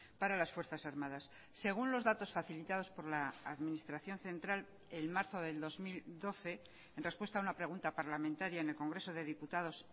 para las fuerzas armadas según los datos facilitados por la administración central en marzo del dos mil doce en respuesta a una pregunta parlamentaria en el congreso de diputados